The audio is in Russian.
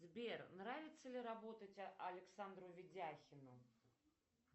сбер нравится ли работать александру ведяхину